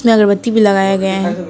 में अगरबत्ती भी लगाया गया है।